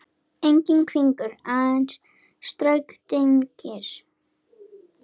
Enginn hvinur, aðeins stöku dynkir.